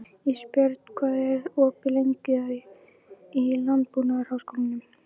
Ísbjörn, hvað er opið lengi í Landbúnaðarháskólanum?